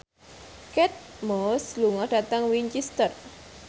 Kate Moss lunga dhateng Winchester